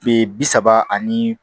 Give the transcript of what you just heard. Be bi saba ani